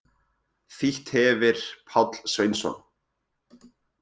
Þýtt hefir Páll Sveinsson.